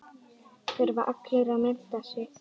Þurfa allir að mennta sig?